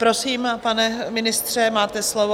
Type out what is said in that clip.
Prosím, pane ministře, máte slovo.